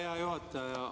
Hea juhataja!